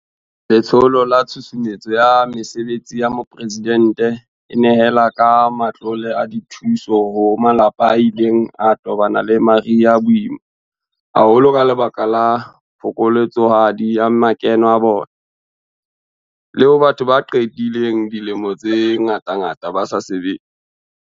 Letsholo la Tshusumetso ya Mesebetsi ya Mopresidente e nehela ka matlole a dithuso ho malapa a ileng a tobana le mariha a boima haholo ka lebaka la phokoletsohadi ya makeno a bona, le ho batho ba qedileng dilemo tse ngatangata ba sa sebetse.